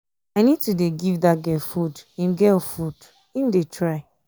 i need to dey give dat girl food im girl food im dey try.